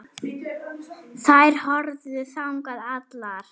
Þær horfðu þangað allar.